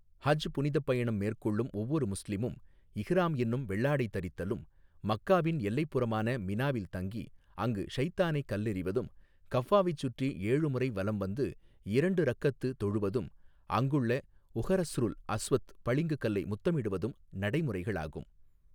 ஹஜ், புனிதப் பயணம் மேற்கொள்ளும் ஒவ்வொரு முஸ்லிமும், இஹ்ராம் என்னும் வெள்ளாடை தரித்தலும், மக்காவின் எல்லைப் புறமான மினாவில் தங்கி, அங்கு ஷைத்தானை கல்லெறிவதும், கஃபாவைச் சுற்றி ஏழுமுறை வலம் வந்து, இரண்டு ரக்அத்து, தொழுவதும், அங்குள்ள உஹறஸ்ருல் அஸ்வத் பளிங்கு கல்லை முத்தமிடுவதும், நடைமுறைகளாகும்.